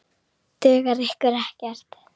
Dugar ykkur ekkert?